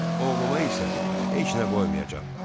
Oğluma isə heç nə qoymayacam.